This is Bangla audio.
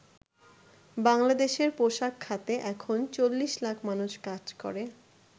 বাংলাদেশের পোশাক খাতে এখন ৪০ লাখ মানুষ কাজ করে।